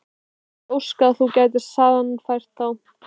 Ég vildi óska að þú gætir sannfært þá